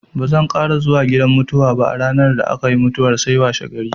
Bazan ƙara zuwa gidan mutuwa ba a ranar da aka yi mutuwar sai washegari.